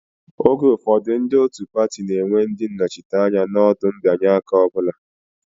Oge ụfọdụ, ndị otu pati na-enwe ndị nnọchiteanya n'ọdụ mbịanye aka ọ bụla